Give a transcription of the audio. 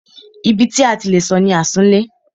Ibi tí a ti le sọ̀ ni Asunlẹ̀.